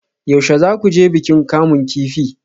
Yaushe za ku je bikin kamun kifi?